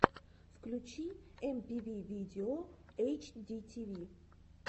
включи эмпиви видео эйчдитиви